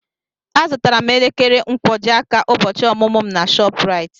Azụtara m elekere nkwojiaka ụbọchị ọmụmụ m na ShopRite.